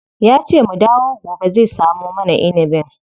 Yace mu dawo gobe zai samo mana inibin.